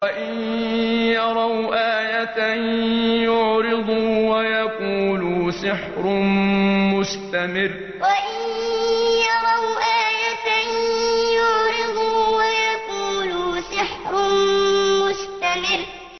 وَإِن يَرَوْا آيَةً يُعْرِضُوا وَيَقُولُوا سِحْرٌ مُّسْتَمِرٌّ وَإِن يَرَوْا آيَةً يُعْرِضُوا وَيَقُولُوا سِحْرٌ مُّسْتَمِرٌّ